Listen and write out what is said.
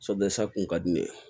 kun ka di ne ye